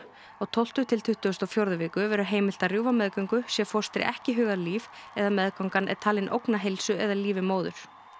á tólfta til tuttugustu og fjórðu viku verður heimilt að rjúfa meðgöngu sé fóstri ekki hugað líf eða meðgangan er talin ógna heilsu eða lífi móður